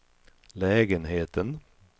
lägenheten